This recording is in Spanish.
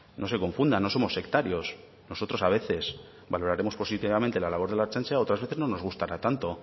no se confunda no somos sectarios nosotros a veces valoraremos positivamente la labor de la ertzaintza y otras veces no nos gustará tanto